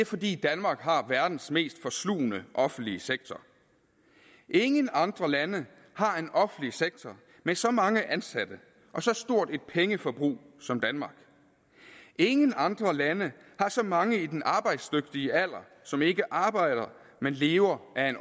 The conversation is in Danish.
fordi danmark har verdens mest forslugne offentlige sektor ingen andre lande har en offentlig sektor med så mange ansatte og så stort et pengeforbrug som danmark ingen andre lande har så mange i den arbejdsdygtige alder som ikke arbejder men lever af